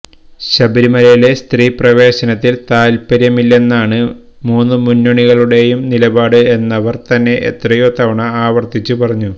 ശബരിമലയിലെ സ്ത്രീപ്രവേശനത്തിൽ താൽപ്പര്യമില്ലെന്നാണ് മൂന്നുമുന്നണികളുടേയും നിലപാട് എന്നവർതന്നെ എത്രയോ തവണ ആവർത്തിച്ചു പറഞ്ഞു